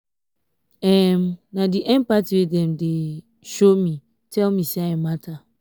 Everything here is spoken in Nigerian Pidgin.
um na di empathy wey dem dey um show um me tell me sey i mata.